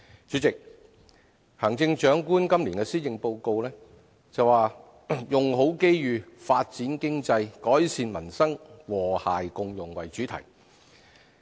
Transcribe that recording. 主席，行政長官今年的施政報告，以"用好機遇發展經濟改善民生和諧共融"為主題。